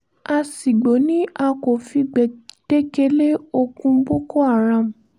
aṣìgbò ni a kò fi gbèdéke lé ogún boko haram